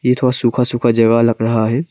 ये थोड़ा सूखा सूखा जगह लग रहा है।